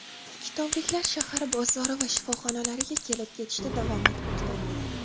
Kitobliklar shahar bozori va shifoxonalariga kelib-ketishda davom etmoqda.